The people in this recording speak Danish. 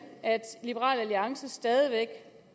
at liberal alliance stadig væk